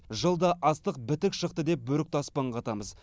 жылда астық бітік шықты деп бөрікті аспанға атамыз